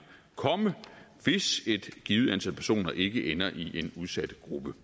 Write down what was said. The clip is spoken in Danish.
komme hvis et givet antal personer ikke ender i en udsat gruppe